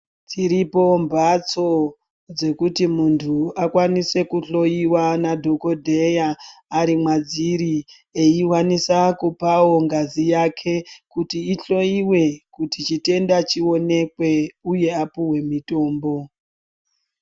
Dziripo mphatso dzekuti muntu akwanise kuhloiwa nadhokodheya ,ari mwadziri, eiwanisa kupawo ngazi yake kuti ihloiwe, kuti chitenda chionekwe ,uye apuwe mitombo.